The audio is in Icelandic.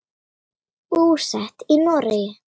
Búsett í Noregi.